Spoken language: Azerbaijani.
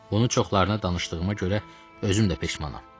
Onu çoxlarına danışdığıma görə özüm də peşmanam.